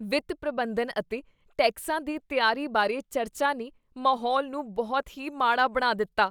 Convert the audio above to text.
ਵਿੱਤ ਪ੍ਰਬੰਧਨ ਅਤੇ ਟੈਕਸਾਂ ਦੀ ਤਿਆਰੀ ਬਾਰੇ ਚਰਚਾ ਨੇ ਮਾਹੌਲ ਨੂੰ ਬਹੁਤ ਹੀ ਮਾੜਾ ਬਣਾ ਦਿੱਤਾ।